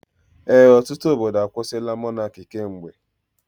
Ee, ọtụtụ obodo akwusila Mọnaki kemgbe.